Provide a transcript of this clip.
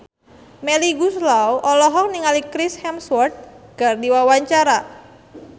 Melly Goeslaw olohok ningali Chris Hemsworth keur diwawancara